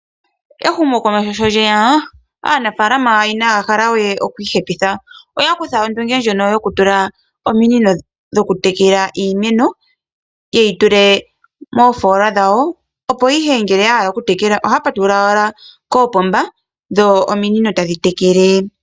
Ehumo komeho sho lyeya aanafalama inahaya hala we okwii hepitha. Oya kutha ondunge ndjono yokutula ominino dho kutekela iimeno yeyi tule mo foola dhawo opo ihe ngele yahalala okutekela ohaya patulula owaha ko pomba dho ominino ta dhi tekele.